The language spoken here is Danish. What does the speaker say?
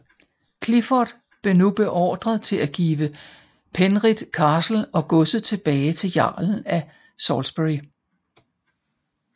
Clifford blev nu beordret til at give Penrith Castle og godset tilbage til jarlen af Salisbury